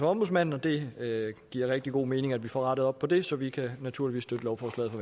ombudsmanden det giver rigtig god mening at vi får rettet op på det så vi kan naturligvis støtte lovforslaget